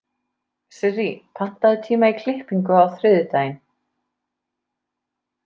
Sirrí, pantaðu tíma í klippingu á þriðjudaginn.